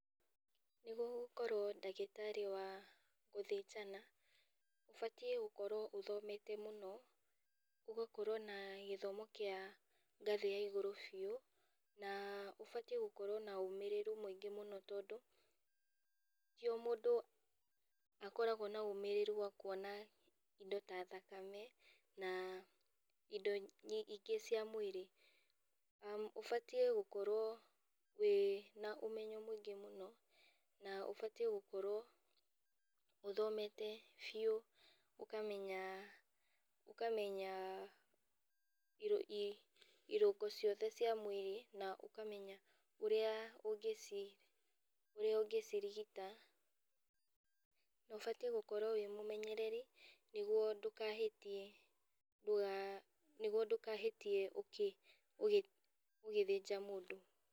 Nĩguo gũkorwo ndagĩtarĩ wa gũthĩnjana, ũbatiĩ gũkorwo ũthomete mũno, nĩgũkorwo na gĩthomo kĩa ngathĩ ya igũrũ biũ, na ũbatiĩ gũkorwo na ũmĩrĩru mũingĩ mũno tondũ, ti o mũndũ akoragwo na ũmĩrĩru wa kuona indo ta thakame, na indo ingĩ cia mwĩrĩ. Ũbatiĩ gũkorwo wĩna ũmenyo mũingĩ mũno, na ũbatiĩ gũkorwo ũthomete biũ, ũkamenya ũkamenya i irũngo ciothe cia mwĩrĩ na ũkamenya ũrĩa ũngĩci ũrĩa ũngĩcirigita, na ũbatiĩ gũkorwo wĩ mũmenyereri, nĩguo ndũkahĩtie ndũga nĩguo ndũkahĩtie ũkĩ ũgĩ ũgĩthinja mũndũ.